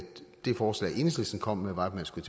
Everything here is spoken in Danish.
det forslag enhedslisten kom med var at man skulle